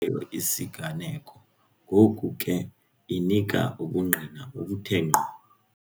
isiganeko, ngoku ke inika ubungqina obuthe ngqo.